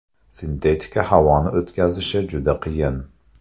Sintetika havoni o‘tkazishi juda qiyin.